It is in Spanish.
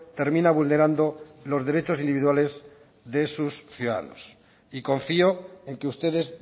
termina vulnerando los derechos individuales de sus ciudadanos y confío en que ustedes